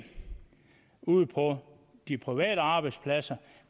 ude på de private arbejdspladser